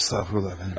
Estağfurullah, efendim.